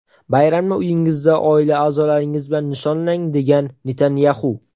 Bayramni uyingizda oila a’zolaringiz bilan nishonlang”, degan Netanyaxu.